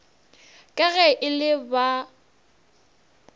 ka ge e le ba